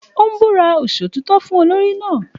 Ó ń búra Ìṣòtítọ́ fún olórí náà